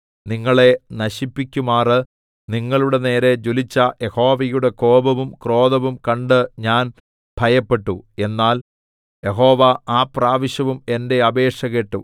നിങ്ങളെ നശിപ്പിക്കുമാറ് നിങ്ങളുടെനേരെ ജ്വലിച്ച യഹോവയുടെ കോപവും ക്രോധവും കണ്ട് ഞാൻ ഭയപ്പെട്ടു എന്നാൽ യഹോവ ആ പ്രാവശ്യവും എന്റെ അപേക്ഷ കേട്ടു